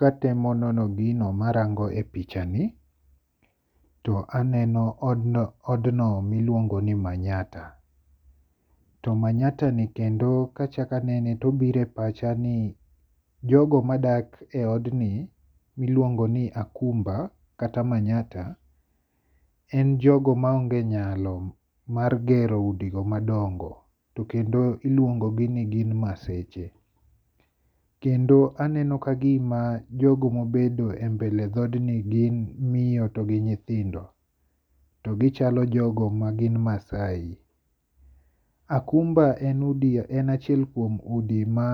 Katemo nono gino marango e pichani to aneno od no miluongo ni manyatta. To manyatta ni kendo kachak anene tobiro e pacha ni jogo madake e od ni miluongo ni akumba kata manyatta en jogo ma onge nyalo mar gero udi go madongo to kendo iluongo gi ni gin Maseche. Kendo aneno kagima jogo mobedo e mbele dhodni gin miyo to gi nyithindo. To gichalo jogo ma gin Maasai. Akumba en achiel kuom udi ma